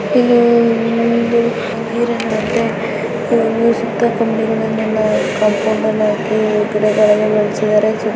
ಇಲ್ಲಿ ಹುಡುಗ ನೀರನ್ನ ಬಿಡ್ತಾಯಿದಾನೆ ಪೈಪಲ್ಲಿ ಮತ್ತೆ ಸುತ್ತ ಕಂಬಿಗಳನ್ನ ಆಕಿ ಕಂಪೌಂಡನ್ನ ಆಕಿ ಗಿಡಗಳನ್ನ ಬೆಳ್ಸಿದಾರೆ.